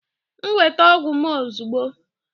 Nweta m ọgwụ m ozugbo!